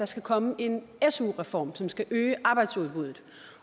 skal komme en su reform som skal øge arbejdsudbuddet